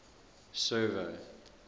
server